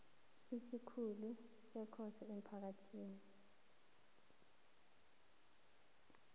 isikhulu sekhotho ephakemeko